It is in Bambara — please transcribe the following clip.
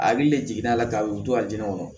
A hakili le jiginna a la ka y'u to a jɛni kɔnɔ